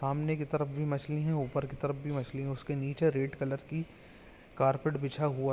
सामने के तरफ भी मछली है ऊपर की तरफ भी मछली है और उसके नीचे रेड कलर की कार्पेट बिछा हुआ--